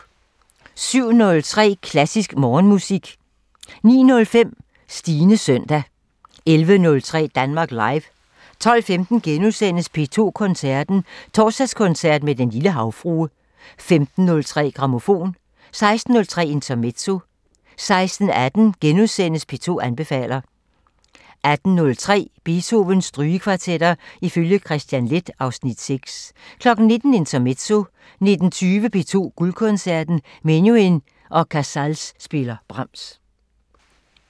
07:03: Klassisk Morgenmusik 09:05: Stines søndag 11:03: Danmark Live 12:15: P2 Koncerten – Torsdagskoncert med Den lille Havfrue * 15:03: Grammofon 16:03: Intermezzo 16:18: P2 anbefaler * 18:03: Beethovens Strygekvartetter ifølge Kristian Leth (Afs. 6) 19:00: Intermezzo 19:20: P2 Guldkoncerten – Menuhin og Casals spiller Brahms